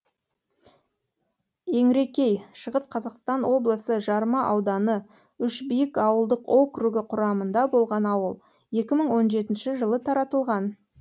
еңрекей шығыс қазақстан облысы жарма ауданы үшбиік ауылдық округі құрамында болған ауыл екі мың он жетінші жылы таратылған